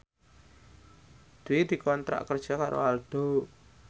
Dwi dikontrak kerja karo Aldo